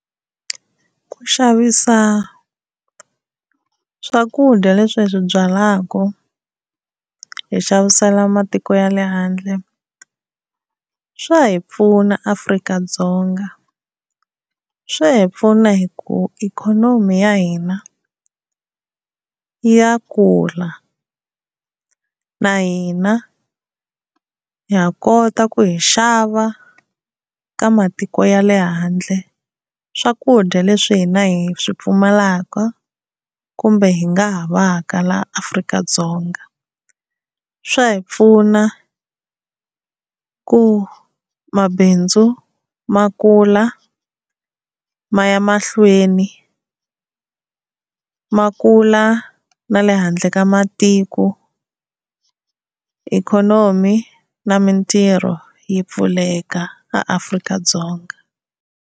Ku xavisa swakudya leswi hi swi byalaka hi xavisela matiko ya le handle swa hi pfuna Afrika-Dzonga, swa hi pfuna hi ku ikhonomi ya hina ya kula na hina ha kota ku hi xava eka matiko ya le handle swakudya leswi hina hi swi pfumalaka kumbe hi nga havaka laha Afrika-Dzonga. Swa hi pfuna ku mabindzu ma kula maya mahlweni, ma kula na le handle ka matiko, ikhonomi na mintirho yi pfuleka eAfrika-Dzonga.